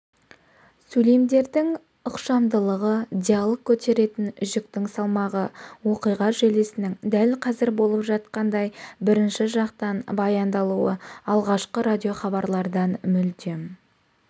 сөйлемдердің ықшамдылығы диалог көтеретін жүктің салмағы оқиға желісінің дәл қазір болып жатқандай бірінші жақтан баяндалуы алғашқы радиохабарлардан мүлдем